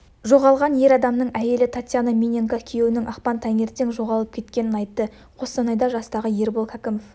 жоғалған ер адамның әйелі татьяна миненко күйеуінің ақпан таңертең жоғалып кеткенін айтты қостанайда жастағы ербол кәкімов